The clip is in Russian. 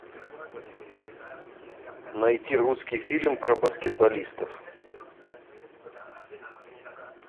найти русский фильм про баскетболистов